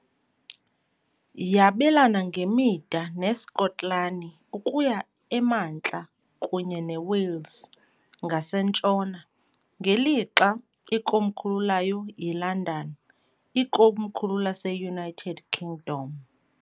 Yabelana ngemida neSkotlani ukuya emantla kunye neWales ngasentshona, ngelixa ikomkhulu layo yiLondon, ikomkhulu laseUnited Kingdom.